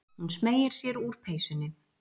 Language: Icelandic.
Hún smeygir sér úr peysunni.